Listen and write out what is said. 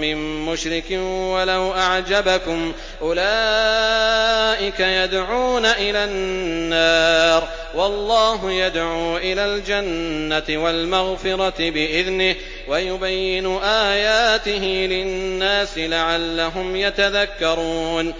مِّن مُّشْرِكٍ وَلَوْ أَعْجَبَكُمْ ۗ أُولَٰئِكَ يَدْعُونَ إِلَى النَّارِ ۖ وَاللَّهُ يَدْعُو إِلَى الْجَنَّةِ وَالْمَغْفِرَةِ بِإِذْنِهِ ۖ وَيُبَيِّنُ آيَاتِهِ لِلنَّاسِ لَعَلَّهُمْ يَتَذَكَّرُونَ